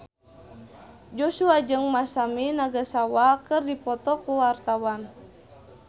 Joshua jeung Masami Nagasawa keur dipoto ku wartawan